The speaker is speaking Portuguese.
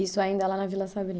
Isso ainda lá na Vila Sabrina?